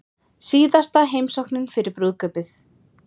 Síðasta heimsóknin fyrir brúðkaupið